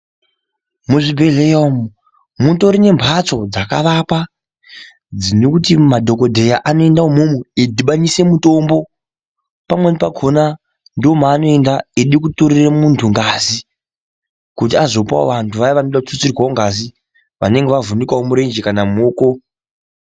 Muzvibhedhleya umwu, mutori nemphatso dzakavakwa, dzinoti madhokodheya anoenda umwomwo eidhibanisa mutombo, pamweni pakhona ndoomweanoenda eida kutorere munthu ngazi, kuti azopawo vanthu vaya vanoda kututsirwa ngazi, vanenge vavhunikawo murenje kana muoko.